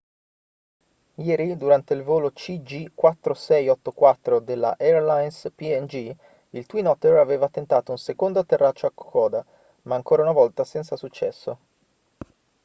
ieri durante il volo cg4684 della airlines png il twin otter aveva tentato un secondo atterraggio a kokoda ma ancora una volta senza successo